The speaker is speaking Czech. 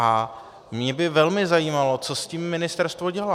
A mě by velmi zajímalo, co s tím ministerstvo dělá.